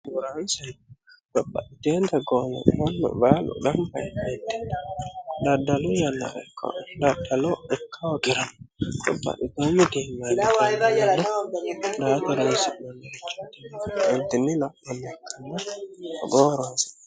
biraanse gopa ijena goome mannu baalu dhambaemeeti daaddalu yannareka laatalo ikka ogirao qubba itoo midiimaidi ka yana daatolnessi monnirichotimi miintinni laphnme kanna hgooroonse